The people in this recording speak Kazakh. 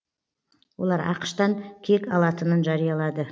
олар ақш тан кек алатынын жариялады